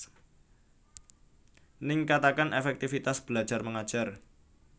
Ningkataken efektifitas belajar mengajar